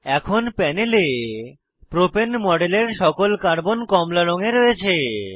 এখন প্যানেলে প্রোপেন মডেলের সকল কার্বন কমলা রঙে রয়েছে